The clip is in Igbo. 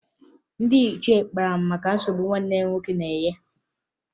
Ndị ichie kpara maka nsogbu nwanne m nwoke na-enye